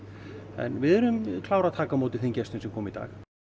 en við erum klár að taka á móti þeim gestum sem koma í dag